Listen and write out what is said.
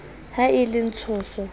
ha e ba le tshoso